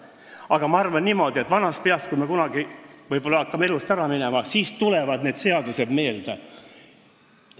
Mina aga arvan niimoodi, et vanast peast, kui me kunagi hakkame elust lahkuma, tulevad need seadused meile meelde.